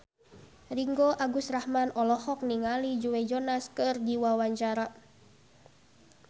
Ringgo Agus Rahman olohok ningali Joe Jonas keur diwawancara